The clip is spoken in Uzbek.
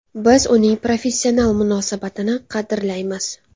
Biz uning professional munosabatini qadrlaymiz.